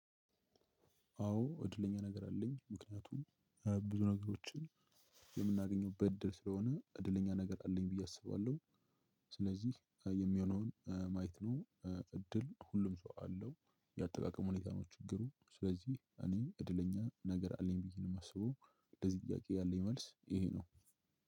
አወ እድለኛ ነገር አለኝ ምክንያቱም ብዙ ነገሮችን የምናገኝበት ደስታ ሁኖ እደለኛ ነገር አለኝ ብየ አስባለሁ። ስለዚህ የሚሆነውን ማየት ነው። እድል ሁሉም ሰው አለው። የአጠቃቀም ሁኔታ ነው ችግሩ። ስለዚህ እኔ እድለኛ ነገር አለኝ ብዬ ነው። የማስበው ለዚህ ጥያቄ ያለኝ መልስ ይሄ ነው።